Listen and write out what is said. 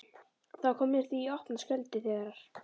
Það kom mér því í opna skjöldu þegar